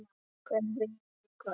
Hver vinnur í kvöld?